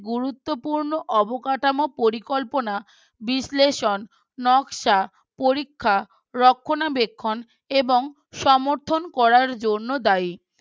গুরুত্বপূর্ণ অবকাঠামো পরিকল্পনা বিশ্লেষণ নকশা পরীক্ষা রক্ষণাবেক্ষণ এবং সমর্থন করার জন্য দায়ী